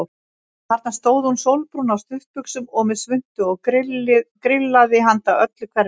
Þarna stóð hún sólbrún á stuttbuxum og með svuntu og grillaði handa öllu hverfinu.